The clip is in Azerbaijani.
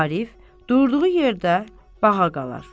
Arif durduğu yerdə bağa qalar.